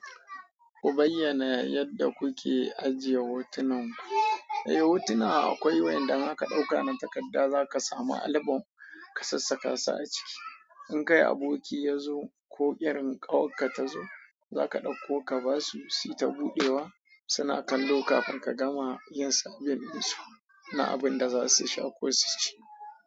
Ku bayyana yadda kuke ajiye hotunan ku. Eh, hotuna akwai wanda zaka ɗauka na takarda, za ka sami album ka sassaka su a ciki. In kai aboki yazo ko irin ƙawarka tazo, zaka ɗauko ka basu si ta buɗewa, suna kallo kafin ka gama yin sabbin su na abun da za su sha ko su ci.